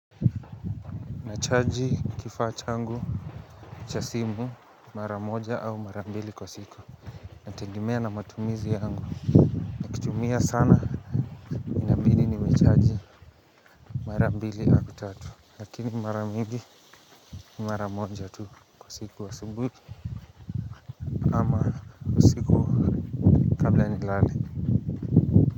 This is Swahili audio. Nachaji kifaa changu cha simu mara moja au mara mbili kwa siku inategemea na matumizi yangu tumia sana inabidi nimechaji mara mbili au tatu lakini mara mingi ni mara moja tu kwa siku asubuhi ama usiku kabla nilale.